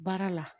Baara la